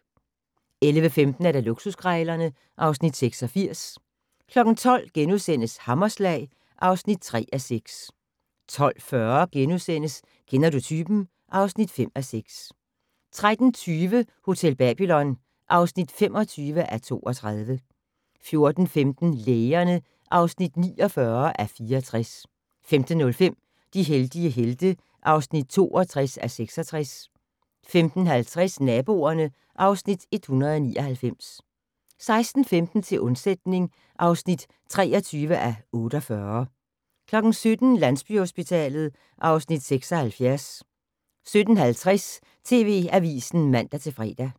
11:15: Luksuskrejlerne (Afs. 86) 12:00: Hammerslag (3:6)* 12:40: Kender du typen? (5:6)* 13:20: Hotel Babylon (25:32) 14:15: Lægerne (49:64) 15:05: De heldige helte (62:66) 15:50: Naboerne (Afs. 199) 16:15: Til undsætning (23:48) 17:00: Landsbyhospitalet (Afs. 76) 17:50: TV Avisen (man-fre)